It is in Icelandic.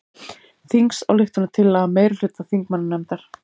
Þingsályktunartillaga meirihluta þingmannanefndar